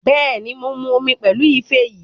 Bẹ́ẹ̀ni, mo mu omi pẹ̀lú ife yìí